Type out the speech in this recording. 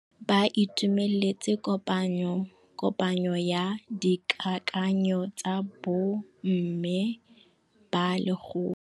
Ba itumeletse kôpanyo ya dikakanyô tsa bo mme ba lekgotla.